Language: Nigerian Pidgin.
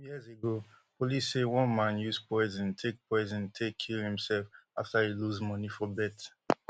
some years ago police say one man use poison take poison take kill imself afta e lose money for bet